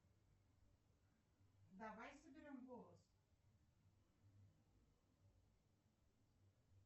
салют давай соберем голос